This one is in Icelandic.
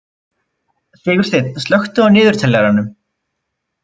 Sigursteinn, slökktu á niðurteljaranum.